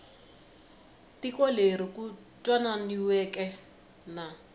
tiko leri ku twananiweke na